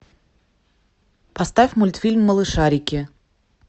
поставь мультфильм малышарики